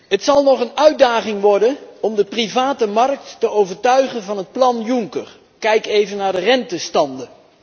Het zal nog een uitdaging worden om de private markt te overtuigen van het plan Juncker kijk even naar de rentestanden.